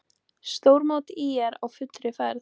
Stórmót ÍR á fullri ferð